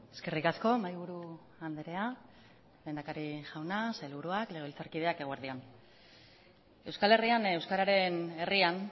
eskerrik asko mahaiburu andrea lehendakari jauna sailburuak legebiltzarkideak eguerdi on euskal herrian euskararen herrian